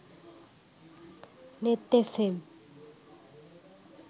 neth fm